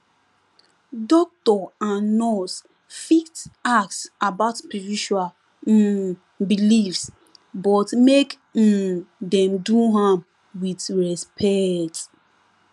doctor and nurse fit ask about spiritual um beliefs but make um dem do am wit respect